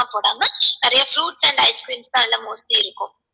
நிறைய fruits and ice creams தான் எல்லாம் mostly இருக்கும்